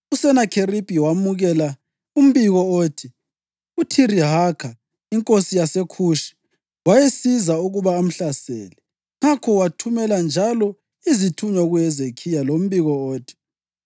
USenakheribhi wemukela umbiko othi uThirihaka, inkosi yaseKhushi, wayesiza ukuba amhlasele. Ngakho wathumela njalo izithunywa kuHezekhiya lombiko othi: